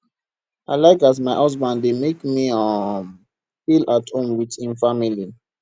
i like as my husband dey make me um feel at home wit im family